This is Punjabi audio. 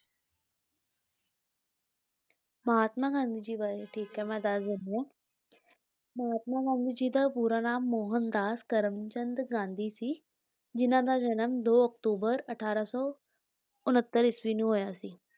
ਮਹਾਤਮਾ ਗਾਂਧੀ ਜੀ ਬਾਰੇ ਠੀਕ ਹੈ ਮੈਂ ਦੱਸ ਦਿੰਦੀ ਹਾਂ ਮਹਾਤਮਾ ਗਾਂਧੀ ਜੀ ਦਾ ਪੂਰਾ ਨਾਮ ਮੋਹਨ ਦਾਸ ਕਰਮਚੰਦ ਗਾਂਧੀ ਸੀ, ਜਿਹਨਾਂ ਦਾ ਜਨਮ ਦੋ ਅਕਤੂਬਰ ਅਠਾਰਾਂ ਸੌ ਉਣੱਤਰ ਈਸਵੀ ਨੂੰ ਹੋਇਆ ਸੀ।